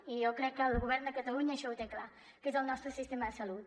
i jo crec que el govern de catalunya això ho té clar que és el nostre sistema de salut